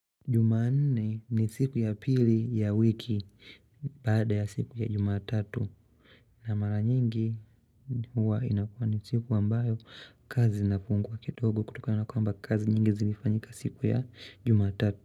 Jumanne ni siku ya pili ya wiki bada ya siku ya Jumatatu na mara nyingi huwa inakua ni siku ambayo kazi nafungua kidogo kutokana kwamba kazi nyingi zilifanyika siku ya Jumatatu.